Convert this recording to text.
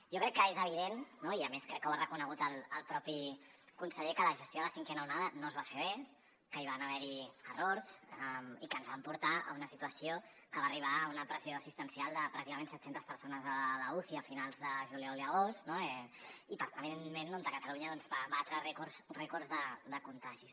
jo crec que és evident no i a més crec que ho ha reconegut el propi conseller que la gestió de la cinquena onada no es va fer bé que hi van haver errors i que ens van portar a una situació que va arribar a una pressió assistencial de pràcticament set centes persones a l’uci a finals de juliol i agost no i evidentment catalunya doncs va batre rècords de contagis